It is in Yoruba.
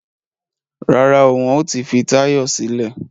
Rárá o, wọn ò tí fi Táyọ̀ sílẹ̀